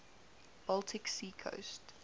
baltic sea coast